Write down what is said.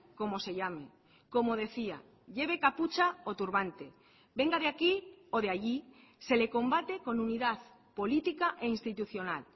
como se llame como decía lleve capucha o turbante venga de aquí o de allí se le combate con unidad política e institucional